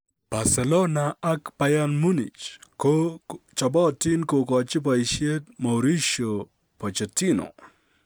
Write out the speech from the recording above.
Barcelona ak Bayern Munich ko chobotin kogochi boisyet Mauricio Pochettino.